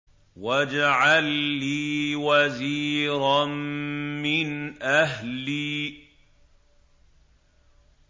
وَاجْعَل لِّي وَزِيرًا مِّنْ أَهْلِي